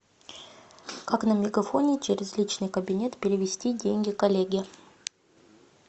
как на мегафоне через личный кабинет перевести деньги коллеге